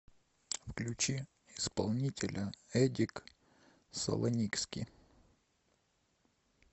включи исполнителя эдик салоникски